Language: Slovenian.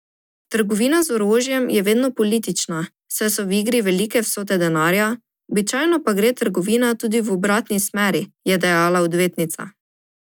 Trgovina z orožjem je vedno politična, saj so v igri velike vsote denarja, običajno pa gre trgovina tudi v obratni smeri, je dejala odvetnica.